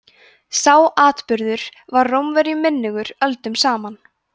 sá atburður var rómverjum minnugur öldum saman